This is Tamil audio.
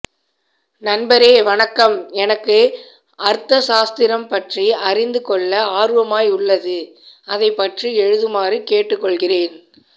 நண்பரே வணக்கம் எனக்கு அர்த்தசாஸ்திரம் பற்றி அறிந்து கொள்ள ஆர்வமாய் உள்ளது அதை பற்றி எழுதுமாறு கேட்டு கொள்கிறேன்